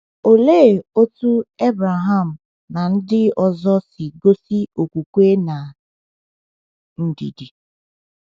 Olee otú Abraham na ndị ọzọ si gosi okwukwe na ndidi?